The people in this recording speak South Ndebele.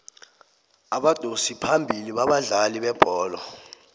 abadosi phambili babadlali bebholo